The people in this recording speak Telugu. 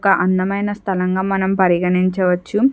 ఒక అందమైన స్థలం గా మనం పరిగణించవచ్చు.